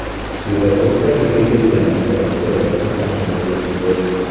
Svetofor tagiga kelganimda ikkalasi mashinaga mindi.